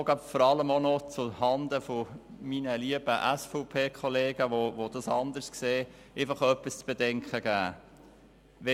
Ich möchte vor allem auch noch zuhanden meiner lieben SVP-Kollegen, die das anders sehen, etwas zu bedenken geben.